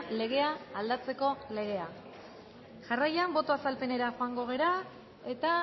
legea aldatzeko legea jarraian boto azalpenera joango gara eta